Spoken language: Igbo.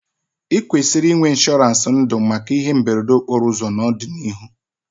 I kwesịrị inwe ịnshọransị ndụ maka ihe mberede okporo ụzọ n'ọdịnihu